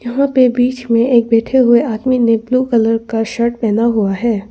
यहां पे बीच में एक बैठे हुए आदमी ने ब्लू कलर का शर्ट पहना हुआ है।